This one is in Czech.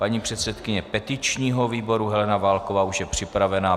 Paní předsedkyně petičního výboru Helena Válková už je připravena.